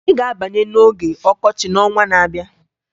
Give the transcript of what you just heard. Anyị ga-abanye n'oge ọkọchị n'ọnwa na-abịa